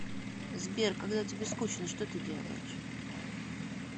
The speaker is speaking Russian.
сбер когда тебе скучно что ты делаешь